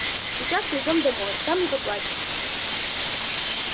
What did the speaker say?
сейчас придём домой там и поплачете